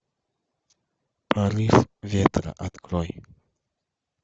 порыв ветра открой